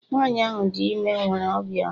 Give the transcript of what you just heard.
Nwanyị ahụ dị ime nwere obi ọma